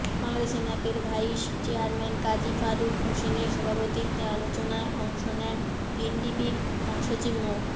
বাংলাদেশ ন্যাপের vice chairman Kazi Faruk হোসেনের সভাপতিত্বে আলোচনায় অংশ নেন এনডিপির মহাসচিব মো